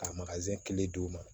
Ka kile d'u ma